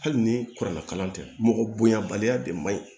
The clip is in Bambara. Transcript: Hali ni kuranna kalan tɛ mɔgɔ bonya baliya de man ɲi